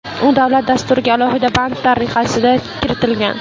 U davlat dasturiga alohida band tariqasida kiritilgan.